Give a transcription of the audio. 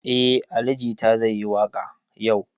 Eh, Ali jita zai yi waka yau.